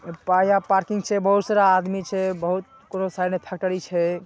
और पाया पार्किंग छै। बहुत सारा आदमी छै। बहुत कोनो साइड मे फैक्टरी छै।